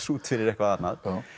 út fyrir eitthvað annað